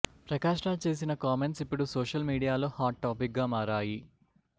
ప్రకాష్ రాజ్ చేసిన కామెంట్స్ ఇప్పుడు సోషల్ మీడియాలో హాట్ టాపిక్గా మారాయి